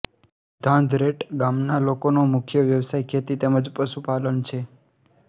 ઘાંઘરેટ ગામના લોકોનો મુખ્ય વ્યવસાય ખેતી તેમ જ પશુપાલન છે